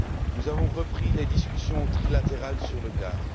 Nous avons repris les discussions trilatérales sur le gaz.